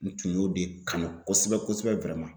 N tun y'o de kanu kosɛbɛ kosɛbɛ